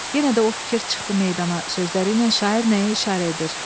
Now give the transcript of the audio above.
Yenə də o fikir çıxdı meydana sözləriylə şair nəyə işarə edir?